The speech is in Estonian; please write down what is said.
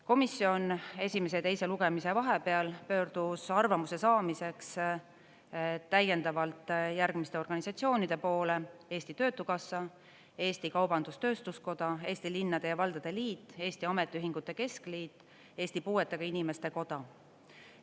Komisjon esimese ja teise lugemise vahepeal pöördus arvamuse saamiseks täiendavalt järgmiste organisatsioonide poole: Eesti Töötukassa, Eesti Kaubandus-Tööstuskoda, Eesti Linnade ja Valdade Liit, Eesti Ametiühingute Keskliit, Eesti Puuetega Inimeste Koda.